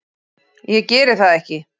Ég geri það ekki.